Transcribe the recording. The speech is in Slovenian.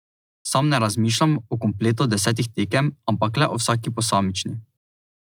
Sam ne razmišljam o kompletu desetih tekem, ampak le o vsaki posamični.